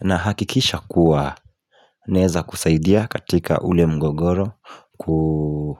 Na hakikisha kuwa Naweza kusaidia katika ule mgogoro kuu